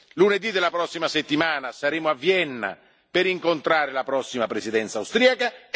Lunedì della prossima settimana saremo a Vienna per incontrare la prossima Presidenza austriaca.